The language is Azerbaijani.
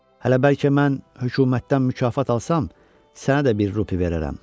Hələ bəlkə mən hökumətdən mükafat alsam, sənə də bir rupi verərəm."